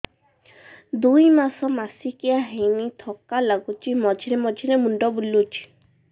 ଦୁଇ ମାସ ମାସିକିଆ ହେଇନି ଥକା ଲାଗୁଚି ମଝିରେ ମଝିରେ ମୁଣ୍ଡ ବୁଲୁଛି